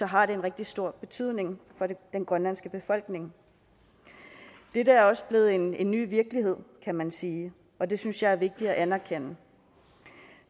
har det en rigtig stor betydning for den grønlandske befolkning dette er også blevet en en ny virkelighed kan man sige og det synes jeg er vigtigt at anerkende